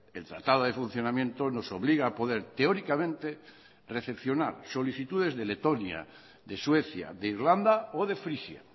el tratado de funcionamiento nos obliga a poder teóricamente recepcionar solicitudes de letonia de suecia de irlanda o de frisia